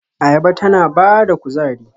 Ayaba tana ba da kuzari.